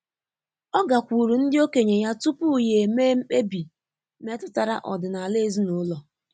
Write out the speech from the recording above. Ọ́ gàkwùùrù ndị okenye ya tupu yá émé mkpebi métụ́tárà ọ́dị́nála ezinụlọ.